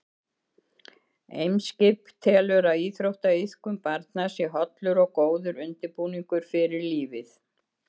Eimskip telur að íþróttaiðkun barna sé hollur og góður undirbúningur fyrir lífið.